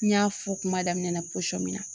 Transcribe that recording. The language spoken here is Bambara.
N y'a fɔ kuma daminɛ na min na